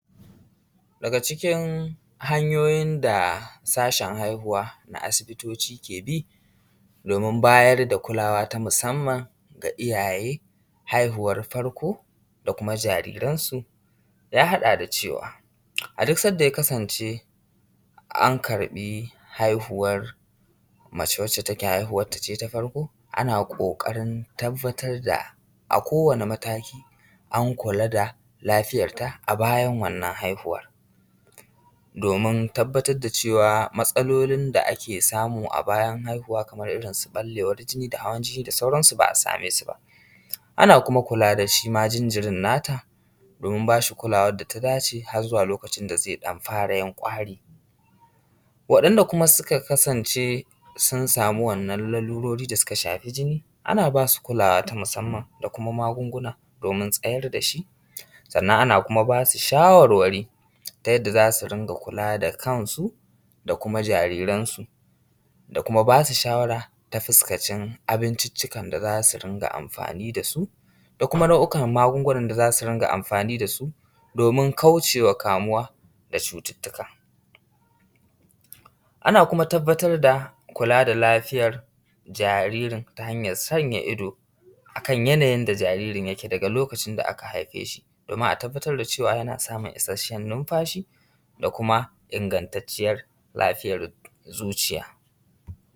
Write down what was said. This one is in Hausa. daga cikin hanyoyin da sashen haihuwa na asibitoci ke bi domin bayar da kulawa ta musamman ga iyaye haihuwar farko da kuma jariransu ya haɗa da cewa a duk sanda ya kasance an karɓi haihuwar mace wanda ta ke haihuwar ta ce na farko ana ƙoƙarin tabbatar da a kowane mataki an kula da lafiyar ta a bayan wannan haihuwan domin tabbatar da cewa matsalolin da ake samu a bayan haihuwa kaman irin su ɓallewan jini da hawan jini da sauransu ba a same su ba a na kuma kula da shima jinjirin na ta domin ba shi kulawan da ta dace har zuwa lokacin da zai ɗan fara yin ƙwari waɗanda kuma suka kasance sun sami wannan lalurori da suka shafi jini ana ba su kulawa ta musamman da kuma magunguna domin tsayar da shi sannan ana kuma ba su shawarwari ta yadda za su kula da kansu da kuma jariransu da kuma ba su shawara ta fuskancin abinciccikan da za su rinƙa amfani da su da kuma nau'i kan magungunan da za su rinƙa amfani da su domin kauce ma kamuwa da cututtuka ana kuma tabbatar da kula da lafiyar jaririn ta hanyar sanya ido a kan yanayin da jaririn yake daga lokacin da aka haife shi domin a tabbatar da cewa yana samun isasshen numfashi da kuma ingantacciyan lafiyar zuciya